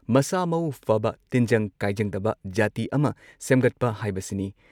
ꯃꯁꯥꯃꯎ ꯐꯕ, ꯇꯤꯟꯖꯪ ꯀꯥꯏꯖꯪꯗꯕ ꯖꯥꯇꯤ ꯑꯃ ꯁꯦꯝꯒꯠꯄ ꯍꯥꯏꯕꯁꯤꯅꯤ ꯫